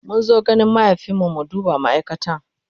mun zo gonan mahaifin mu mu duba ma'aikatan